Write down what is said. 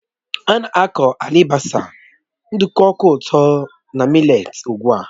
Á na-aku alibasa, nduku ụtọ na mị́letí n'ugwu